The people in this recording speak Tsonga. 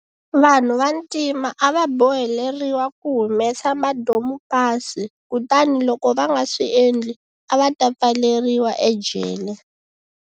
Vanhu vantima a va boheleriwa ku humesa madomupasi kutani loko va nga swi endli, a va ta pfaleriwa ejele.